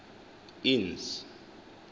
innes